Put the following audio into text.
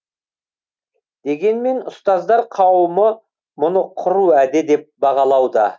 дегенмен ұстаздар қауымы мұны құр уәде деп бағалауда